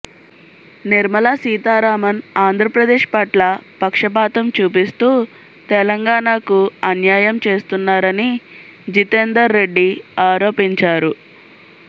నిర్మలా సీతారామన్ ఆంధ్రప్రదేశ్ పట్ల పక్షపాతం చూపిస్తూ తెలంగాణకు అన్యాయం చేస్తున్నారని జితేందర్ రెడ్డి ఆరోపించారు